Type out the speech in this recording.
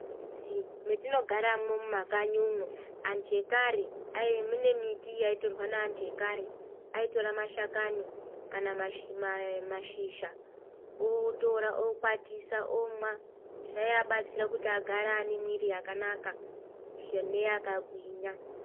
Mumizi mwetinogaramwo mumakanyimwo antu ekare mune miti yaitorwa neantu akare aitira mashakani kana mashizha otira okwatisa omwa zvaibatsira kuti agare ane mwiri yakanaka neyakagwinya.